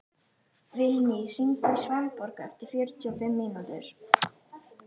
Vilný, hringdu í Svanborgu eftir fjörutíu og fimm mínútur.